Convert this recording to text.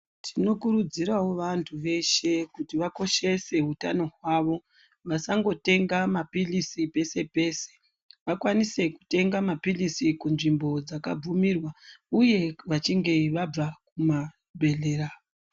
Tinokurudzirawo vanthu veshe kuti vakoshese utano hwavo vasangotenga mapilizi pese pese vakwanise kutenga mapilizi kunzvimbo dzakabvumirwa uye vachinge vabva kumabhedhlera.